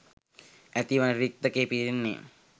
ඇතිවන රික්තකය පිරෙන්නේ